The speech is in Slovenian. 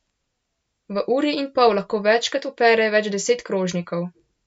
V uri in pol lahko večkrat opere več deset krožnikov.